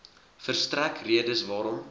verstrek redes waarom